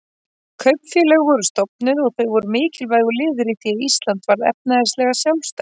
Kaupfélög voru stofnuð, og þau voru mikilvægur liður í því að Ísland varð efnahagslega sjálfstætt.